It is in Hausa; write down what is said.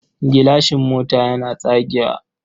Gilashin mota yana tsagewa.